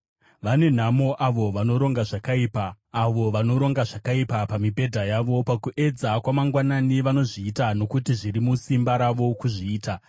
Vane nhamo avo vanoronga zvakaipa, avo vanoronga zvakaipa pamibhedha yavo! Pakuedza kwamangwanani vanozviita nokuti zviri musimba ravo kuzviita.